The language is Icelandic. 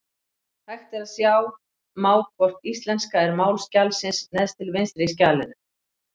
Hægt er að sjá má hvort íslenska er mál skjalsins neðst til vinstri í skjalinu.